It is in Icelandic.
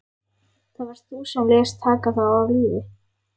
Það varst þú sem lést taka þá af lífi.